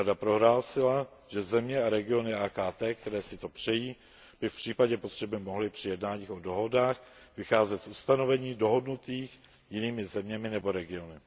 Rada prohlásila, že země a regiony AKT, které si to přejí, by v případě potřeby mohly při jednáních o dohodách vycházet z ustanovení dohodnutých jinými zeměmi nebo regiony.